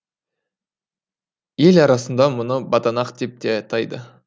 ел арасында мұны баданақ деп те атайды